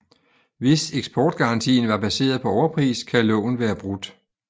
Hvis eksportgarantien var baseret på overpris kan loven være brudt